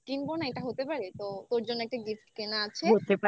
কিনবো না এটা হতে পারে. তো তোর জন্য একটা gift কেনা আছে.